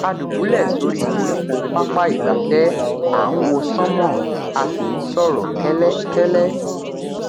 a dùbúlẹ sórí koríko pápá ìgbafẹ à ń wo sánmọ a sì ń sọrọ kẹlẹ kẹlẹ